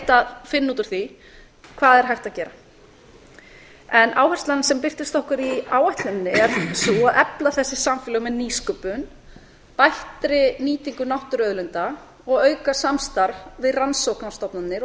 að finna út úr því hvað er hægt að gera áherslan sem birtist okkur í áætluninni er sú að efla þessi samfélög með nýsköpun bættri nýtingu náttúruauðlinda og að auka samstarf við rannsóknastofnanir og